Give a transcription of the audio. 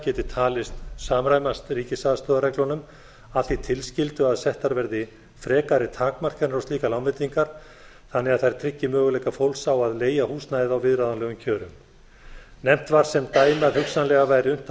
geti talist samræmast ríkisaðstoðarreglunum að því tilskildu að settar verði frekari takmarkanir á slíkar lánveitingar þannig að þær tryggi möguleika fólks á að leigja húsnæði á viðráðanlegum kjörum nefnt var sem dæmi að hugsanlega væri unnt að